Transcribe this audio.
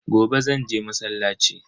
Gobe zanje masallaci.